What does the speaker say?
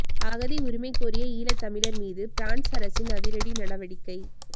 அகதி உரிமை கோரிய ஈழத்தமிழர் மீது பிரான்ஸ் அரசின் அதிரடி நடவடிக்கை